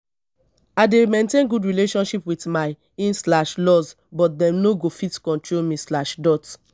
i dey maintain good relationship wit my in slash laws but dem no go fit control me slash dot